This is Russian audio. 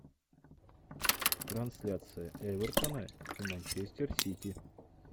трансляция эвертона и манчестер сити